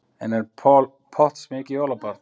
En er Paul Potts mikið jólabarn?